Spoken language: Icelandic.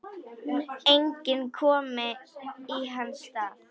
Enginn komi í hans stað.